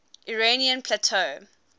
iranian plateau